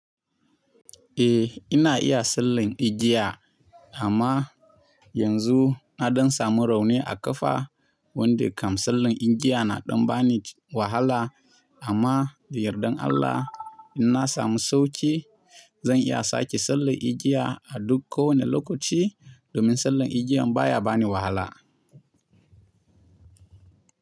Eh ina iya sallan igiya amma yanzu na don samu rauni a ƙafa wanda kam sallan igiya na ɗan bani wahala. Amma da yardan Allah in na samu sauki zan iya sake sallan igiya a duk kowane lokaci domin sallan igiyan baya bani wahala.